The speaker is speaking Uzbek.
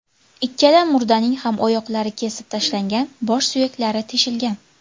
Ikkala murdaning ham oyoqlari kesib tashlangan, bosh suyaklari teshilgan.